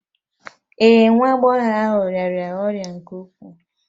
Ee, nwa agbọghọ ahụ rịara ọrịa nke ukwuu